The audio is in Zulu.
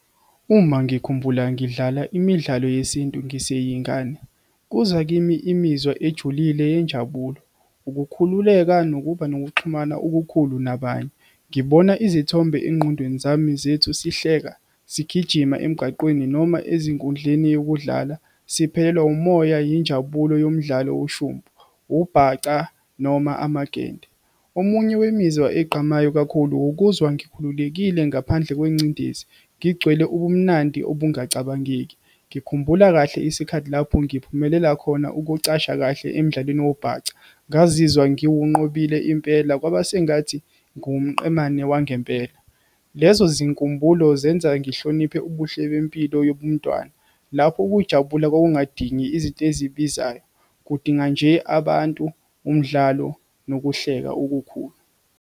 Uma ngikhumbula ngidlala imidlalo yesintu ngiseyingane kuza kimi imizwa ejulile yenjabulo, ukukhululeka nokuba nokuxhumana okukhulu nabanye. Ngibona izithombe engqondweni zami zethu sihleka sigijima emgaqweni noma ezinkundleni yokudlala, siphelelwe umoya yinjabulo yomdlalo ushumpu, ubhaca, noma amagende. Omunye wemizwa ezigqamayo kakhulu ukuzwa ngikhululekile ngaphandle kwengcindezi, ngigcwele ubumnandi obungacabangeki. Ngikhumbula kahle isikhathi lapho ngiphumelela khona ukucasha kahle emidlalweni wobhaca, ngazizwa ngiwunqobile impela kwaba sengathi ngiwumqemane wangempela. Lezo zinkumbulo zenza ngihloniphe ubuhle bempilo yobuntwana. Lapho ukujabula kwakungadingi izinto ezibizayo, kudinga nje abantu umdlalo nokuhleka okukhulu.